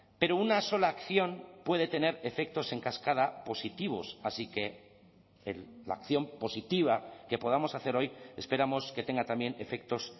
pero una sola acción puede tener efectos en cascada positivos así que la acción positiva que podamos hacer hoy esperamos que tenga también efectos